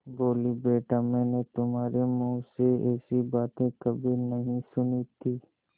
बोलीबेटा मैंने तुम्हारे मुँह से ऐसी बातें कभी नहीं सुनी थीं